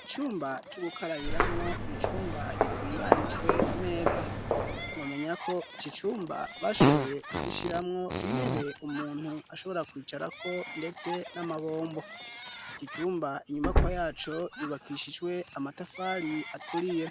Icumba co gukarabiramwo ni icumba gitunganijwe neza. Mwomenya ko iki cumba bashoboye kugishyiramwo intebe umuntu ashobora kwicarako ndetse n'amabombo. Iki cumba, inyubakwa yaco yubakishijwe amatafari aturiye.